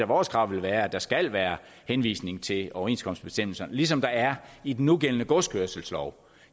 vores krav vil være at der skal være henvisning til overenskomstbestemmelser ligesom der er i den nugældende godskørselslov